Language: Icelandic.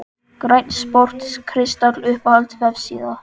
Grænn sport kristall Uppáhalds vefsíða?